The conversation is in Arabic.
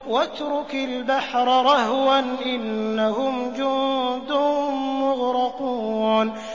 وَاتْرُكِ الْبَحْرَ رَهْوًا ۖ إِنَّهُمْ جُندٌ مُّغْرَقُونَ